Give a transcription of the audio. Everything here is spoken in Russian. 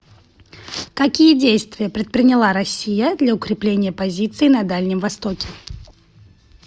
какие действия предприняла россия для укрепления позиций на дальнем востоке